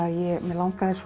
mig langaði svo